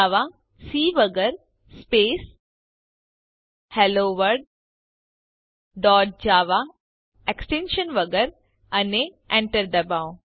જાવા C વગર space hello world dot java extension વગર અને Enter ડબાઓ